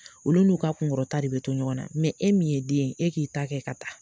Olu n'u ka kunkɔrɔta de bi to ɲɔgɔn na e min ye den e k'i ta kɛ ka taa.